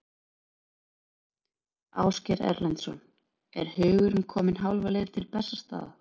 Ásgeir Erlendsson: Er hugurinn kominn hálfa leið til Bessastaða?